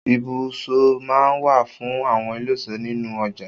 Ibùsọ má ń wà fún àwọn eléso nínú ọjà